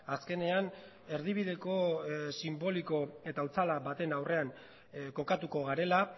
azkenean erdibideko sinboliko eta otzala baten aurrean kokatuko garela